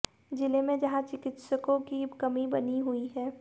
जिले में जहां चिकित्सकों की कमी बनी हुई है